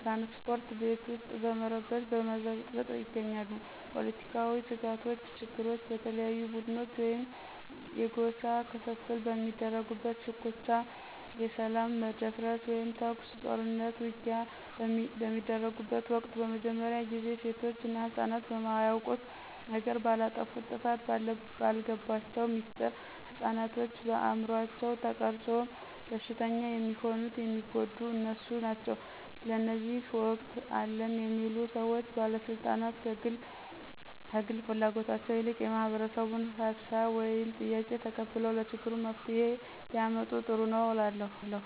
ትራንስፓርት፣ በቤት ውስጥ በረበሽ በብጥብጥ ይገኛሉ። ፖለትካዊ ስጋቶች ችግሮች በተለያዩ ቡድኖች ወይም የጎሳ ክፍፍል በሚያደርጉት ሽኩቻ የሰላም መደፍረስ ወይም ተኩስ፣ ጦርኑት፣ ውጊያ በሚደርጉበት ወቅት በመጀመርያ ጊዜ ሴቶች እና ህፅናት በማያውቁት ነገር፣ ባላጠፉት ጥፋት፣ ባልገባቸው ሚስጥር፣ ህፅናቶችን በአምሯቸው ተቀርፆ በሽተኛ የሚሆኑት የሚጎዱት እነሱ ናቸው። ስለዚህ እውቀት አለን የሚሉ ሰዎች ባለስልጣናት ከግል ፍላጎታቸው ይልቅ የማህበረሰቡን ሀሳብ ወይም ጥያቄ ተቀብለው ለችግሩ መፍትሄ ቢያመጡ ጥሩ ነው እላለሁ።